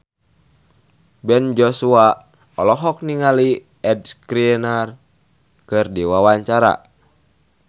Ben Joshua olohok ningali Ed Sheeran keur diwawancara